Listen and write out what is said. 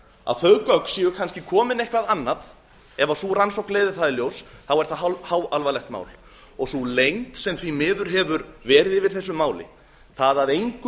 að þau gögn séu kannski komin eitthvað annað ef sú rannsókn leiðir það í ljós er það háalvarlegt mál og sú leynd sem því miður hefur verið yfir þessu máli það að engum